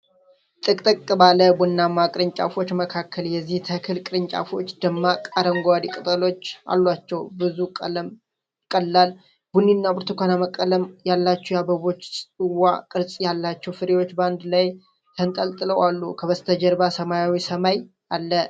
ጥቅጥቅ ባለ ቡናማ ቅርንጫፎች መካከል፣ የዚህ ተክል ቅርንጫፎች ደማቅ አረንጓዴ ቅጠሎች አሏቸው። ብዙ ቀላል ቡኒና ብርቱካናማ ቀለም ያላቸው የአበባ ጽዋ ቅርጽ ያላቸው ፍሬዎች በአንድ ላይ ተንጠልጥለው አሉ፣ ከበስተጀርባ ሰማያዊ ሰማይ አለ።